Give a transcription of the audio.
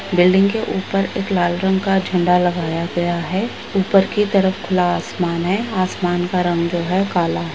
Building के उपर एक लाल रंग का झंडा लगाया गया है उपर की तरफ खुला आसमान है आसमान का रंग जो है काला।